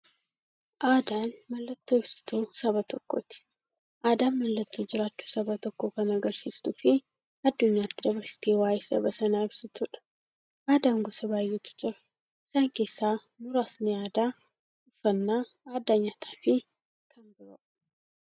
Aadaan mallattoo ibsituu saba tokkooti. Aadaan mallattoo jiraachuu saba tokkoo kan agarsiistufi addunyyaatti dabarsitee waa'ee saba sanaa ibsituudha. Aadaan gosa baay'eetu jira. Isaan keessaa muraasni aadaa, uffannaa aadaa nyaataafi kan biroo.